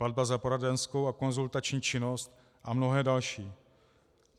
Platba za poradenskou a konzultační činnost a mnohé další.